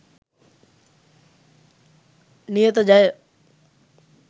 niyatha jaya